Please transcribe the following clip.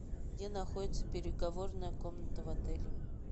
где находится переговорная комната в отеле